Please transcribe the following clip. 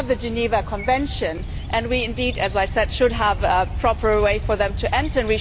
We have the Geneva Convention and indeed, as I said, we should have a proper way for them to enter.